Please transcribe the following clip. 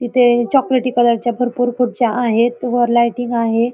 तिथे चॉकलेटी कलर च्या भरपूर खुर्च्या आहेत व लाइटिंग आहे.